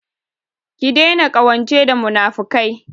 Ki daina ƙawance da munafukai!